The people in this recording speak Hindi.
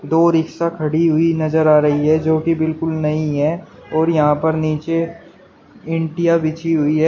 दो रिक्शा खड़ी हुई नजर आ रही है जोकि बिल्कुल नई है और यहां पर नीचे इंटिया बिछी हुई है।